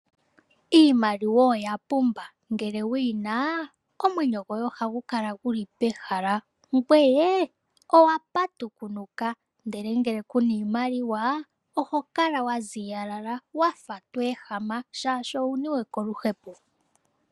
Iimaliwa oya pumba ngele wuyina omwenyo goye oha gu kala guli pehala ngweye owa patukunuka ndele ngele kuna iimaliwa oho kala wa ziyalala wafa tweehema shaashi owuniwe koluhepo